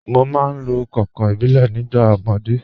Mo máa ń lo kànkàn ìbílẹ̀ nígbà ọmọdé.